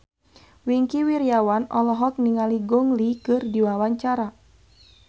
Wingky Wiryawan olohok ningali Gong Li keur diwawancara